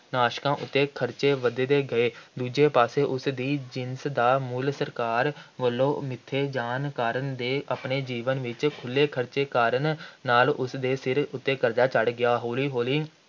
ਨਾਸ਼ਕਾਂ ਉੱਤੇ ਖ਼ਰਚੇ ਵੱਧਦੇ ਗਏ । ਦੂਜੇ ਪਾਸੇ ਉਸ ਦੀ ਜਿਨਸ ਦਾ ਮੁੱਲ ਸਰਕਾਰ ਵੱਲੋਂ ਮਿੱਥੇ ਜਾਣ ਕਾਰਨ ਅਤੇ ਆਪਣੇ ਜੀਵਨ ਵਿੱਚ ਖੁੱਲ੍ਹੇ ਖ਼ਰਚੇ ਕਾਰਨ ਨਾਲ ਉਸ ਦੇ ਸਿਰ ਕਰਜ਼ਾ ਚੜ੍ਹ ਗਿਆ । ਹੌਲੀ-ਹੌਲੀ